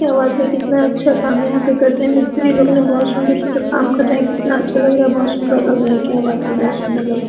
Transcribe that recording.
क्या बात है कितना अच्छा काम यहाँ पर कर रहे है मिस्त्री लोग ने बहुत सुन्दर -सुन्दर काम कर रहे है कितना अच्छा लग रहा है बहुत सुन्दर लग रहा है क्या बात है बहुत सुन्दर लग रहा है।